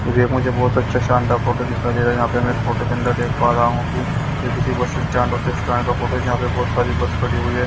ये भी मुझे बहुत अच्छा शानदार फोटो दिखाई दे रहा है यहाँ पे मैं फोटो के अंदर देख पा रहा हूँ कि ये किसी बस स्टैंड स्टैंड का फोटो हैजहाँ पे बहुत सारी बस खड़ी हुई है।